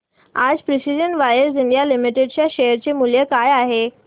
आज precision wires India limited च्या share चे मूल्य काय आहे